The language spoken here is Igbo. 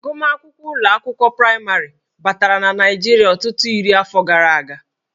Agụmakwụkwọ ụlọ akwụkwọ praịmarị batara na Naịjirịa ọtụtụ iri afọ gara aga